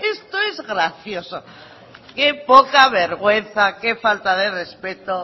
esto es gracioso qué poca vergüenza qué falta de respeto